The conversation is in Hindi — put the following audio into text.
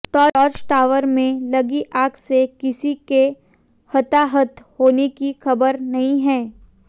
टॉर्च टॉवर में लगी आग से किसी के हताहत होने की खबर नहीं है